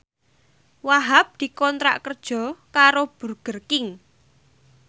Wahhab dikontrak kerja karo Burger King